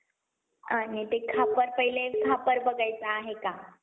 आणि ते खापर पाहिलं खापर बघायचं आहे का?